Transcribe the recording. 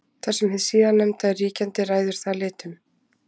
Þar sem hið síðarnefnda er ríkjandi ræður það litnum.